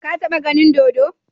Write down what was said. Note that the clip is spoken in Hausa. Ka taba ganin dodo?